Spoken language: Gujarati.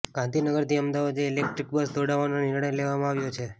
ગાંધીનગરથી અમદાવાદ વચ્ચે ઇલેકટ્રીક બસ દોડાવાનો નિર્ણય લેવામાં આવ્યો છે